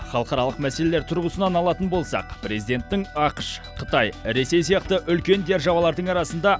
халықаралық мәселелер тұрғысынан алатын болсақ президенттің ақш қытай ресей сияқты үлкен державалардың арасында